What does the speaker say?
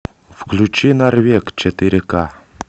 включи норвег четыре ка